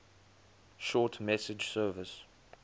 short message service